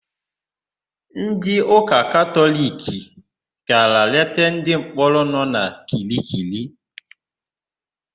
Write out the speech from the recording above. Ndịụka Katọliki gara leta ndịmkpọrọ nọ na Kirikiri.